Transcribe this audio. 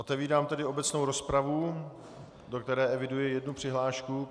Otevírám tedy obecnou rozpravu, do které eviduji jednu přihlášku.